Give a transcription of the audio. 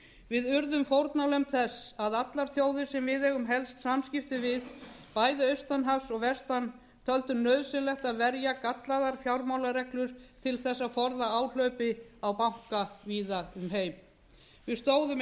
við urðum fórnarlömb þess að allar þjóðir sem við eigum helst samskipti við bæði austan hafs og vestan töldu nauðsynlegt að verja gallaðar fjármálareglur til þess að forða áhlaupi á banka víða um heim við stóðum